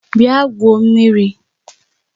Bịa gwuo mmiri!